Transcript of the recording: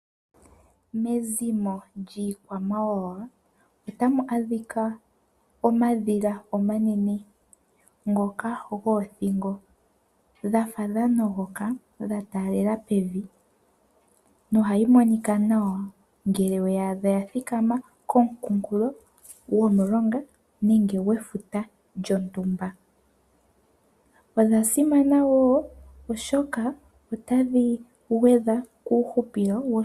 Mezimo lyiikwamawawa otamu adhika omadhila omanene ngoka goothingo dha fa dha nogoka dha taalela pevi nohayi monika nawa ngele we ya adha ya thikama komukunkulo gomulonga nenge gwefuta lyontumba. Odha simana oshoka otadhi gwedha kuuhupilo woshilongo.